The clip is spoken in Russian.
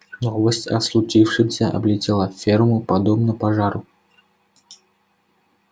новость о случившемся облетела ферму подобно пожару